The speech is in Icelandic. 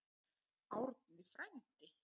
Árni frændi!